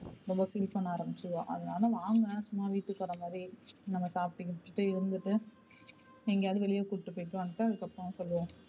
ரொம்ப feel பண்ண ஆரம்பிச்சுருவா அதுனால வாங்க சும்மா வீட்டுக்கு வர மாதிரி நம்ம சாப்ட்டு கீப்ட்டு இருந்துட்டு எங்கயாவது வெளிய கூப்ட்டு போய்டு வந்துட்டு அப்பறம் சொல்லுவோம்.